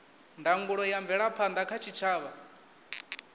ndangulo ya mvelaphanda kha tshitshavha